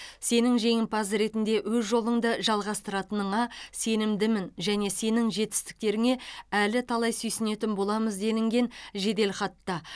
сенің жеңімпаз ретінде өз жолыңды жалғастыратыныңа сенімдімін және сенің жетістіктеріңе әлі талай сүйсінетін боламыз делінген жеделхатта